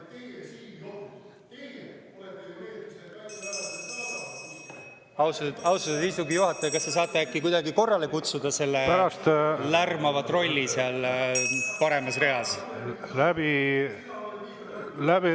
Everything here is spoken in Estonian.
Austatud istungi juhataja, kas te saate äkki kuidagi korrale kutsuda selle lärmava trolli seal paremas reas?